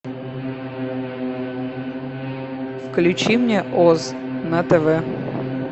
включи мне оз на тв